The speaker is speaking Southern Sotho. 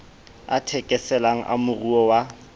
a thekeselang a moruo wa